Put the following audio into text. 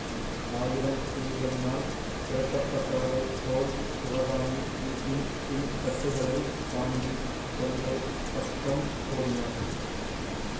ஆயிரம் பேய்களினால் துரத்தப்பட்டவளைப் போல் சிவகாமி வீட்டின் பின்கட்டுகளைத் தாண்டிக் கொல்லைப் பக்கம் ஓடினாள்